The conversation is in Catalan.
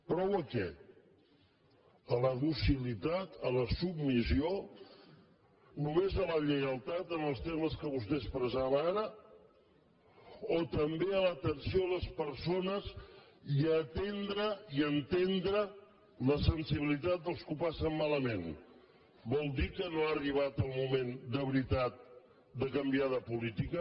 prou a què a la docilitat a la submissió només a la lleialtat en els termes que vostè expressava ara o també a l’atenció a les persones i a atendre i entendre la sensibilitat dels que ho passen malament vol dir que no ha arribat el moment de veritat de canviar de política